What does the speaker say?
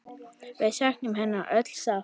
Við söknum hennar öll sárt.